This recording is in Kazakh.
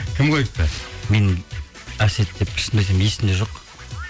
кім қойыпты мен әсет деп шынымды айтайын есімде жоқ